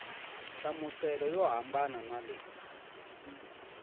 nhlamuselo yo hambana na leyi